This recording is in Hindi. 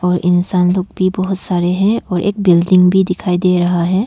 और इंसान लोग भी बहुत सारे हैं और एक बिल्डिंग भी दिखाई दे रहा है।